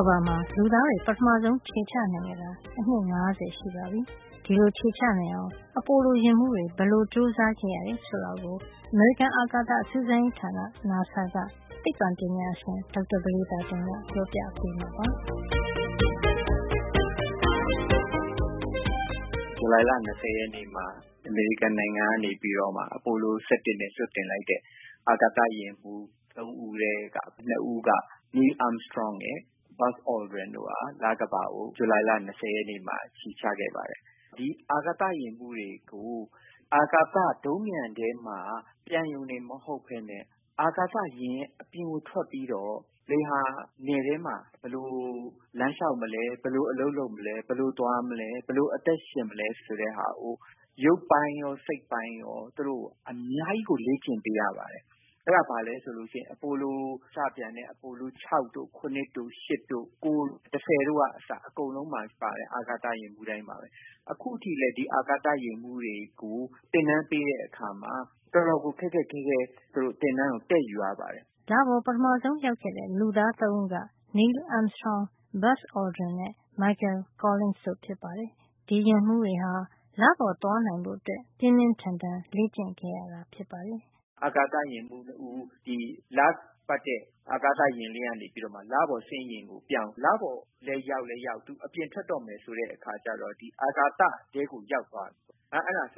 ကမ္ဘာမှာ လူသားတွေ ပထမဆုံး ခြေချနိုင်ခဲ့တာ အနှစ် ၅၀ ရှိပါပြီ။ ဒီလို ခြေချနိုင်အောင် အပိုလို ယာဉ်မှုးတွေ ဘယ်လိုကြိုးစားခဲ့ရတယ် ဆိုတာကို အမေရိကန်အာကာသ စူးစမ်းရေးဌာန နာဆာက သိပ္ပံပညာရှင် ဒေါက်တာ ပဒေသာတင်က ပြောပြပေးမှာပါ။ “ဇူလိုင်လ ၂၀ ရက်နေ့မှာ အမေရိကန်နိုင်ငံကနေ အပိုလို ၁၁ နဲ့ လွှတ်တင်လိုက်တဲ့ အာကာသယာဉ်မှုး ၃ ဦး ထဲက ၂ ဦးက Neil Armstrong ရယ် Buzz Aldrin ရယ်တို့က လကမ္ဘာကို ခြေချခဲ့ပါတယ်။ ဒီအာကာသ ယာဉ်မှုးတွေကို အာကာသ ဒုံးပျံထဲမှာ ပျံရုံတင် မဟုတ်ပဲနဲ့ အာကာသယာဉ်ရဲ့ အပြင်ကို ထွက်ပြီးတော့ လေဟာနယ်ထဲမှာ ဘယ်လို လမ်းလျှောက်မလဲ၊ ဘယ်လို အလုပ်လုပ်မလဲ၊ ဘယ်လိုသွားမလဲ၊ ဘယ်လို အသက်ရှင်မလဲ ဆိုတာကို ရုပ်ပိုင်းရော၊ စိတ်ပိုင်းရော သူတို့ အများကြီးကို လေ့ကျင့်ပေးရပါတယ်။ အဲဒါဟာ အပိုလို စပျံတဲ့ အပိုလို ၆ တို့ - ၇ တို့ ၈ တို့ ၉ တို့ ၁၀ တို့က အစ အကုန်လုံးမှာပါတဲ့ အာကာသ ယာဉ်မှုးတိုင်းဟာ အခုထိလည်း ဒီအာကာသ ယာဉ်မှုးတွေကို သင်တန်းပေးတဲ့အခါမှာ တော်တော်ကို ခက်ခက်ခဲခဲ သူတို့ သင်တန်းကို တက်ယူရပါတယ်။” လပေါ် ပထမဆုံး ရောက်ခဲ့တဲ့ လူသား ၃ ဦးက Neil Armstrong - Buzz Aldrin နဲ့ Michael Collins တို့ဖြစ်ပါတယ်။ ဒီယာဉ်မှုးတွေဟာ လပေါ်သွားနိုင်ဖို့ ပြင်းပြင်းထန်ထန် လေ့ကျင့်ခဲ့ရတာပါ။ “အာကာသယာဉ်မှုးတွေ ဒီလပတ်တဲ့ အာကာသယာဉ်ထဲကနေ လပေါ်ဆင်းယာဉ်ကိုပြောင်း လပေါ်ကို ရောက်ပြီး အပြင်ထွက်တဲ့ အခါကျတော့ အာကာသထဲကို ရောက်သွားတယ်။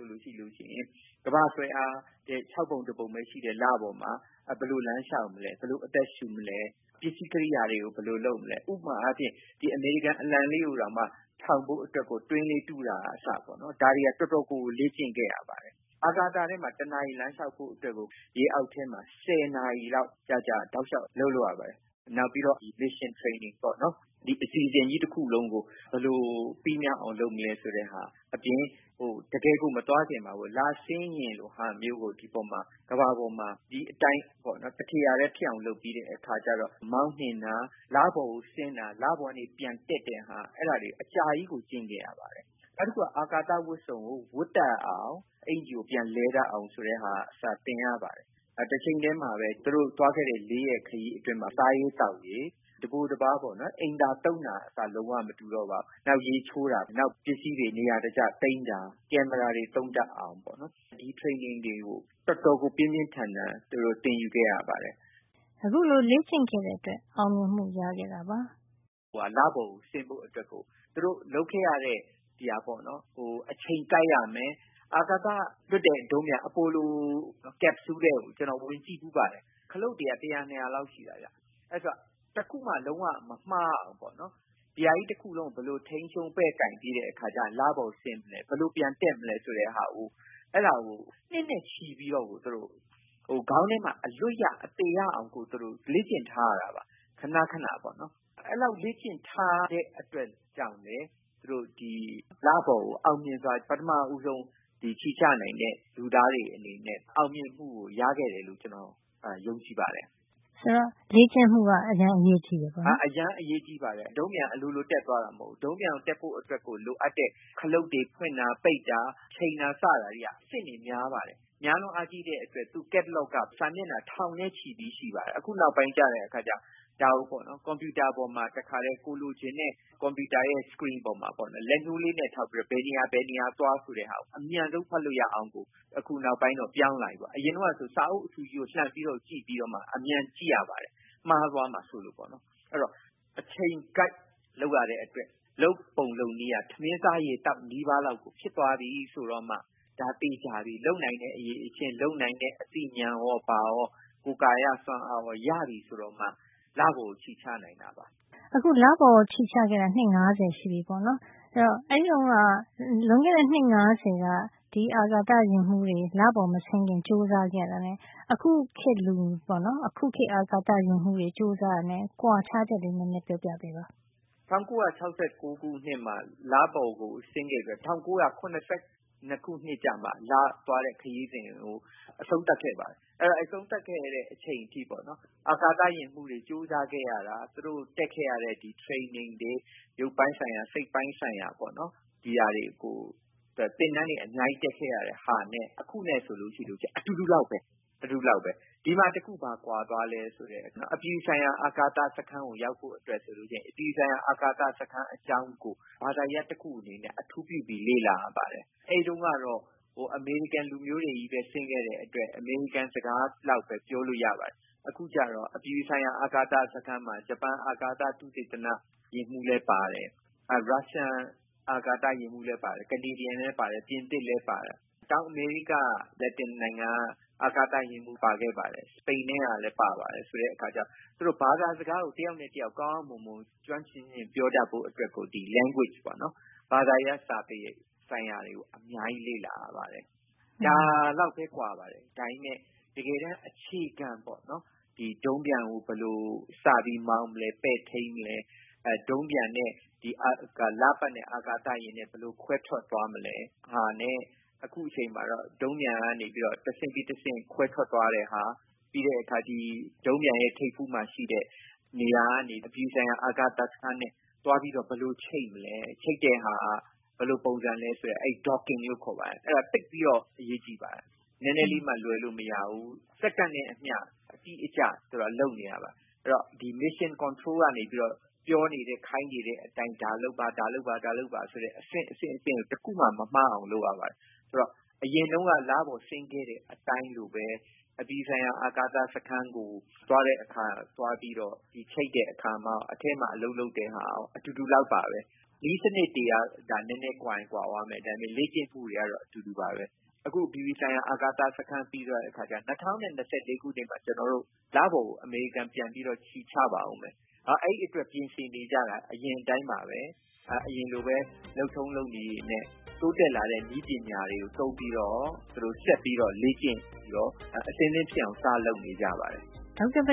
ကမ္ဘာ့ဆွဲအားရဲ့ ၆ ပုံတပုံပဲ ရှိတဲ့ လပေါ်မှာ ဘယ်လို လမ်းလျှောက်မလဲ၊ ဘယ်လိုအသက်ရှင်မလဲ၊ ပစ္စည်းကရိယာတွေကို ဘယ်လိုလုပ်မလဲ၊ ဥပမာအားဖြင့် အမေရိကန် အလံလေးတခုတောင်မှ ထောင်ဖို့အတွက် တွင်းကလေး တူးတာကအစ ဒါတွေက တော်တော်လေးကို လေ့ကျင့်ခဲ့ရပါတယ်။ အာကာသထဲမှာ တနာရီ လမ်းလျှောက်ဖို့အတွက်ကို ရေအောက် ထဲမှာ ဆယ်နာရီလောက် ကြာကြာ တောက်လျှောက် အလုပ်လုပ်ရပါတယ်။ နောက်ပြီးတော့ mission training ပေါ့နော်။ ဒီအစီစဉ်ကြီး တခုလုံးကို ဘယ်လိုပြီးမြောက်အောင် လုပ်မလဲ ဆိုတာအပြင် မသွားခင်မှာ လဆင်းယာဉ်လို ဟာမျိုးကို ကမ္ဘာပေါ်မှာ ဒီအတိုင်း တထေရာထဲ ဖြစ်အောင် လုပ်ပြီး မောင်းနှင်တာ၊ လပေါ်ကို တင်တာ၊ လပေါ်ကနေ ပျံတက်တာ၊ အဲဒါတွေကို အကြာကြီး လေ့ကျင့်ခဲ့ရပါတယ်။ နောက်တခုက အာကာသဝတ်စုံကို ဝတ်တတ်အောင်၊ အကျီကို ပြန်လဲတတ်အောင် ဆိုတာကအစ သင်ရပါတယ်။ တချိန်ထဲမှာပဲ သူတို့ သွားခဲ့တဲ့ ၄ ရက်ခရီး ထဲမှာ စားရေးသောက်ရေး၊ တပိုတပါးပေါ့နော်၊ အိမ်သာသုံးတာကအစ လုံးဝ မတူတော့ပါဘူး။ နောက် ရေချိုးတာ၊ နောက် ပစ္စည်းတွေ နေရာတကျသိမ်းတာ၊ ကင်မရာတွေ သုံးတတ်အောင်ကအစ ဒီ training တွေကို တော်တော်ကို ပြင်းပြင်းထန်ထန် သူတို့ သင်ယူခဲ့ရပါတယ်။” အခုလို လေ့ကျင့်ခဲ့တဲ့အတွက် အောင်မြင်မှု ရခဲ့တာ ဖြစ်ပါတယ်။ “လပေါ်ကို တင်ဖို့အတွက် သူတို့ လုပ်ခဲ့ရတာတွေက အချိန်ကိုက်ရမယ်။ အာကာသလွှတ်တဲ့ ဒုံးပျံ အပိုလို capsule အိမ်ထဲကို ကျနော် ဝင်ကြည့်ဖူးပါတယ်။ ခလုပ်တွေက တရာနှစ်ရာလောက် ရှိပါတယ်။ အဲတော့ တခုမှ လုံးဝ မမှားအောင် ဒီဟာကြီး တခုလုံးကို ဘယ်လို ထိန်းချုပ်ပဲ့ကိုင်ပြီး လပေါ်တင်မယ်။ ဘယ်လိုပျံတက်မလဲ ဆိုတာကို အဲဒါကို နှစ်နဲ့ချီပြီး တော့ကို ခေါင်းထဲမှာ အလွတ်ရ အသေရအောင်ကို သူတို့ လေ့ကျင့်ထားရတာပါ။ ခဏခဏပေါ့နော်။ အဲဒီလောက် လေ့ကျင့်ထားတဲ့ အတွက်လည်း သူတို့ လပေါ်ကို အောင်မြင်စွာ ပထမဦးဆုံး ခြေချနိုင်တဲ့ လူသားတွေ အနေနဲ့ အောင်မြင်မှု ရခဲ့တယ်လို့ ကျနော်ယုံကြည်ပါတယ်။ ဆိုတော့ လေ့ကျင့်မှုက အရမ်းအရေးကြီးတယ် ပေါ့နော်။ “အရမ်းအရေးကြီးပါတယ်။ ဒုံးပျံက အလိုလို တက်သွားတာ မဟုတ်ပါဘူး။ ဒုံးပျံ တက်ဖို့ အတွက်ကို လိုအပ်တဲ့ ခလုပ်တွေ ဖွင့်တာ၊ ပိတ်တာ၊ ချိန်တာဆတာ တွေက အဆင့်တွေ များပါတယ်။ များလွန်းအားကြီးတဲ့အတွက် သူ့ catalogue က စာမျက်နှာ ထောင်နဲ့ချီပြီး ရှိပါတယ်။ အခု နောက်ပိုင်းမှာ ကျတော့ ဒါကို ကွန်ပြူတာ ပေါ်မှာ တခါထဲ ကိုယ်လိုချင်တဲ့ ကွန်ပြူတာရဲ့ မျက်နှာပြင် screen ပေါ်မှာ လက်ညှိုးလေးနဲ့ ထောက်ပြီး ဘယ်နေရာ ဘယ်နေရာ သွားဆိုပြီး အမြန်ဆုံး ဖတ်လို့ရအောင်ကို အခုနောက်ပိုင်းတော့ ပြောင်းလာပြီပေါ့။ အရင်တုန်းကဆို စာအုပ်အထူကြီးကို လှန်ကြည့်ပြီးတော့မှ အမြန်ကြည့်ရပါတယ်။ မှားသွားမှာ စိုးလို့။ အဲဒီတော့ အချိန်ကိုက် လုပ်ရတဲ့အတွက် လုပ်ပုံလုပ်နည်းက ထမင်းစားရေသောက် နီးပါးလောက်ကို ဖြစ်သွားပြီ ဆိုတော့မှ ဒါသေချာပြီ။ လုပ်နိုင်တဲ့ အရည်အချင်း၊ လုပ်နိုင်တဲ့ အသိဉာဏ်ရောဘာရော ကိုယ်ကာယ စွမ်းအားရော ရပြီ ဆိုတော့မှ လပေါ်ကို ခြေချနိုင်ပါတယ်။” လပေါ်ကို ခြေချခဲ့တာ အနှစ် ၅၀ ရှိပြီပေါ့နော်။ ဆိုတော့ အဲဒီတုန်းက နှစ် ၅၀ တုန်းက ဒီအာကာသ ယာဉ်မှုးတွေ လပေါ်မဆင်းခင် ကြိုးစားခဲ့ရတာနဲ့ အခုခေတ်လူတွေ အခုခေတ် အာကာသ ယာဉ်မှုးတွေ ကြိုးစားရတာနဲ့ ကွာခြားချက်ကလေး နဲနဲ ပြောပြပေးပါ။ “၁၉၆၉ ခုနှစ်မှာ လပေါ်ကို ဆင်းခဲ့ပြီးတော့ ၁၉၇၂ ခုနှစ်ကျမှ လသွားတဲ့ ခရီးစဉ်တွေကို အဆုံးသတ်ခဲ့ပါတယ်။ အဲဒီလို အဆုံးသတ်ခဲ့တဲ့ အချိန်အထိပေါ့နော်၊ အာကာသယာဉ်မှုးတွေ ကြိုးစားခဲ့ရတာ၊ သူတို့ တက်ခဲ့ရတဲ့ traning တွေ၊ ရုပ်ပိုင်းဆိုင်ရာ၊ စိတ်ပိုင်းဆိုင်ရာ ပေါ့နော် သင်တန်းတွေ အများကြီး တက်ခဲ့ရတာနဲ့ အခုနဲ့ဆို အတူတူ လောက်ပဲ၊ ဒီမှာ တခု ဘာကွာသွားသလဲ ဆိုတော့ အပြည်ပြည်ဆိုင်ရာ အာကာသစခန်းကို ရောက်ဖို့အတွက်ဆိုရင် အပြည်ပြည်ဆိုင်ရာ အာကာသစခန်း အကြောင်းကို ဘာသာရပ် တခု အနေနဲ့ အထူးပြုပြီး လေ့လာရပါတယ်။ အဲဒီတုန်းကတော့ အမေရိကန် လူမျိုးတွေချည်းပဲ ဆင်းခဲ့တဲ့အတွက် အမေရိကန်စကားလောက်ပဲ ပြောလို့ ရပါတယ်။ အခုကျတော့ အပြည်ပြည် ဆိုင်ရာ အာကာသစခန်းမှာ ဂျပန်အာကာသ သုတေသန ယာဉ်မှုးလည်း ပါတယ်။ ရုရှားအာကာသယာဉ်မှုးလည်းပါတယ်၊ ကနေဒါကလည်းပါတယ်၊ ပြင်သစ်လည်းပါတယ်၊ တောင်အမေရိကက လက်တင်နိုင်ငံက အာကာသ ယာဉ်မှုး ပါခဲ့သလို စပိန်ကလည်း ပါပါတယ်။ ဆိုတဲ့အခါကျတော့ သူတို့ ဘာသာစကားကို တယောက်နဲ့ တယောက် ကောင်းကောင်း မွန်မွန် ကျွမ်းကျွမ်းကျင်ကျင် ပြောတတ်ဖို့ အတွက် ဆို ဒီ ဘာသာစကား language ပေါ့နော်။ ဘာသာရပ်စာပေ ဆိုင်ရာတွေကို အများကြီးလေ့လာရပါတယ်။ ဒါလောက်ပဲ ကွာပါတယ်။ ဒါပေမယ့် တကယ်တမ်း အခြေခံ ပေါ့နော်၊ ဒီ ဒုံးပျံကို ဘယ်လို စပြီး မောင်းမလဲ၊ ပဲ့ထိန်းမလဲ၊ ဒုံးပျံနဲ့ လပတ်တဲ့အာကာသယာဉ်နဲ့ ဘယ်လိုခွဲထွက်မလဲ၊ ဆိုတာတွေနဲ့ အခုအချိန်မှာတော့ ဒုံးပျံက တဆင့်ပြီးတဆင့် ခွဲထွက်သွားတာ၊ နောက် ဒုံးပျံရဲ့ ထိပ်ဖူးမှာ ရှိတဲ့နေရာကနေ အပြည်ပြည်ဆိုင်ရာ အာကာသစခန်းနဲ့ သွားပြီးတော့ ဘယ်လို ချိတ်ဆက်မလဲ၊ ချိတ်တဲ့ဟာက ဘယ်လိုပုံစံလည်းဆိုတဲ့ အဲဒါ docking လို့ခေါ်ပါတယ်။ အဲဒါ သိပ်အရေးကြီးပါတယ်။ နဲနဲလေးမှ လွဲလို့ မရပါဘူး။ စက္ကန့်နဲ့အမျှ အတိအကျ သူတို့က လုပ်နေရပါတယ်။ အဲဒီတော့ mission control ကနေပြီးတော့ ပြောနေ ခိုင်းနေတဲ့ အတိုင်း ဒါလုပ်ပါ ဒါလုပ်ပါ ဆိုတဲ့ အဆင့်အဆင့်တိုင်းကို တခုမှ မမှားအောင် လုပ်ရပါတယ်။ ဆိုတော့ အရင်တုန်းက လပေါ်ဆင်းခဲ့တဲ့ အတိုင်းလိုပဲ အပြည်ပြည်ဆိုင်ရာ အာကာသစခန်းကို သွားတဲ့အခါ၊ သွားပြီးတော့ ချိတ်တဲ့အခါ၊ စခန်းထဲမှာ အလုပ်လုပ်တဲ့အခါ အတူတူ လောက်ပါပဲ၊ နည်းစံနစ်တွေကသာ နဲနဲ ကွာချင်ကွာသွားမယ်၊ ဒါပေမယ့် လေ့ကျင့်မှုတွေကတော့ အတူတူပါပဲ။ အခု အပြည်ပြည်ဆိုင်ရာ အာကာသစခန်းပြီးသွားတဲ့ အခါကျရင် ၂၀၂၄ ခုနှစ်မှာ ကျနော်တို့ လပေါ်ကို အမေရိကန် ပြန်ပြီးတော့ ခြေချပါအုံးမယ်။ နောက်အဲဒီအတွက် ပြင်ဆင်မှုတွေက အရင်အတိုင်း ပါပဲ။ အရင်လိုပဲ လုပ်ထုံးလုပ်နည်း တွေနဲ့ တိုးတက်လာတဲ့ နည်းပညာတွေကို သုံးပြီးတော့ သူတို့ ဆက်လေ့ကျင့်ပြီးတော့ အဆင်သင့်ဖြစ်အောင် စလုပ်နေကြပါတယ်။” ဒေါက်တာ ပ